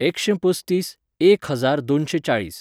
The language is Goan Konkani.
एकशें पसतीस, एक हजार दोनशें चाळीस